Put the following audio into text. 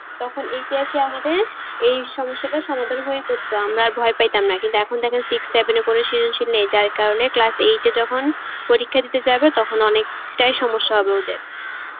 তখন ইতিহাসে আমাদের এই সমস্যাটার সমাধান হয়ে পড়তো তো আমরা আর ভয় পাইতাম না তো এখন দেখেন six সেভে এ করে সেজনশীল নেই যার কারণে class eight এ যখন পরীক্ষা দিতে যাবে তখন অনেক টাই সমস্যা হবে ওদের